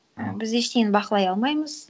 і біз ештеңені бақылай алмаймыз